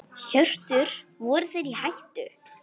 Hjörtur: Voru þeir í hættu?